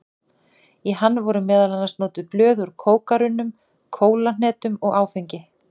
Í hann voru meðal annars notuð blöð úr kókarunna, kólahneta og áfengi.